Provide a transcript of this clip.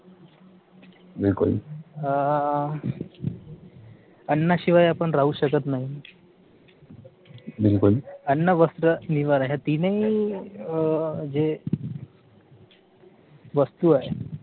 अं अन्ना शिवाय शकत नाही अन्न वस्त्र निवारा या तिनही जे वस्तू आहेत